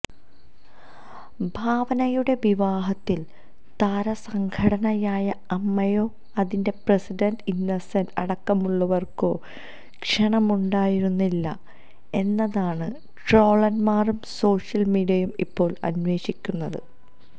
ഭാവനയുടെ വിവാഹത്തിൽ താരസംഘടനയായ അമ്മയോ അതിന്റെ പ്രസിഡന്റ് ഇന്നസെന്റ് അടക്കമുള്ളവര്ക്കോ ക്ഷണമുണ്ടായിരുന്നില്ലേ എന്നതാണ് ട്രോളന്മാരും സോഷ്യൽ മീഡിയയും ഇപ്പോൾ അന്വേഷിക്കുന്നത്